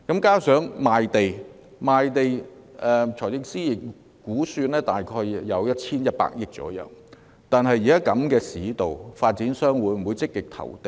加上在賣地方面，財政司司長估算賣地收入約有 1,100 億元，但現時市道如此疲弱，發展商會否積極投地？